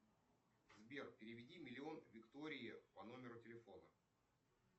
сбер переведи миллион виктории по номеру телефона